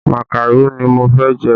Màkàró ni mo fẹ́ jẹ